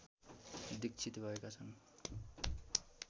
दीक्षित भएका छन्